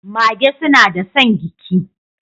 Magee suna da son giki.